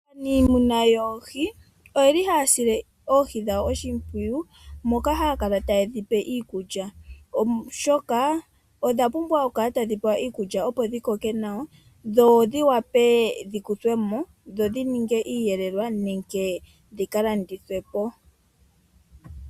Aamuni yoohi oye li haya sile oohi dhawo oshimpwiyu moka haya kala taye dhi pe iikulya, oshoka odha pumbwa okukala tadhi pewa iikulya opo dhi koke nawa, dho dhi wape dhi kuthwe mo dho dhi ninge iiyelelwa nenge dhi ka landithwe po.